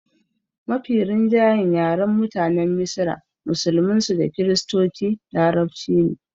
Mafi rinjayen yaren mutanen misra musulmin su da kiristoci larabci ne